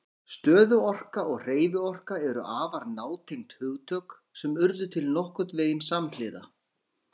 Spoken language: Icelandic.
Stöðuorka og hreyfiorka eru afar nátengd hugtök sem urðu til nokkurn veginn samhliða.